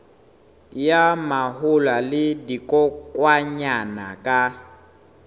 ya mahola le dikokwanyana ka